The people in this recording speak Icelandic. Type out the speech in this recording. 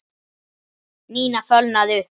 Nína fölnaði upp.